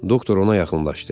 Doktor ona yaxınlaşdı.